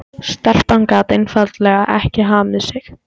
Stelpan gat einfaldlega ekki hamið sig.